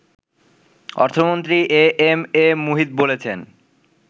অর্থমন্ত্রী A M A Muhith বলেছেন